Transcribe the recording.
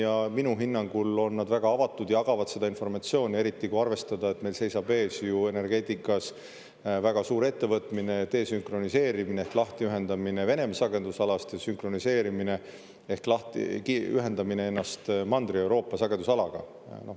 Ja minu hinnangul on nad väga avatud, jagavad seda informatsiooni, eriti kui arvestada, et meil seisab ees ju energeetikas väga suur ettevõtmine – desünkroniseerimine ehk lahtiühendamine Venemaa sagedusalast ja sünkroniseerimine ehk ühendamine Mandri-Euroopa sagedusalaga.